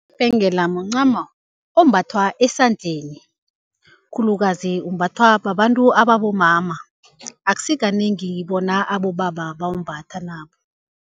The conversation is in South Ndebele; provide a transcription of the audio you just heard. Ibhengela mncamo ombathwa esandleni, khulukazi umbathwa babantu abomama. Akusi kanengi bona abobaba bawumbathe nabo.